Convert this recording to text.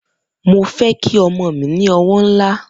Mo fe ki omo mi ni owo nla